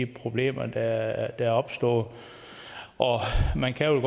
problemer der er opstået man kan